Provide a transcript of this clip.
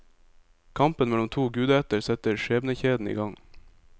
Kampen mellom to gudeætter setter skjebnekjeden i gang.